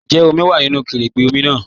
Ǹjẹ́ omi wá nínu kẹrẹ̀gbẹ̀ omi náà?